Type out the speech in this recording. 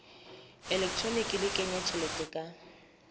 elektroniki le kenya tjhelete ka